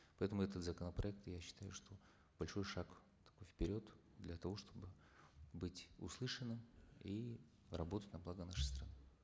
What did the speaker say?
поэтому этот законопроект я считаю что большой шаг такой вперед для того чтобы быть услышанным и работать на благо нашей страны